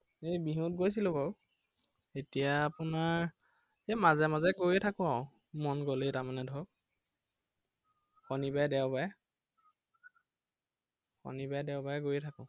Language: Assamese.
এৰ বিহুত গৈছিলো বাৰু। এতিয়া আপোনাৰ, এৰ মাজে মাজে গৈয়েই থাকো আৰু, মন গলে তাৰমানে ধৰক। শনিবাৰে দেওবাৰে শনিবাৰ দেওবাৰে গৈ থাকো।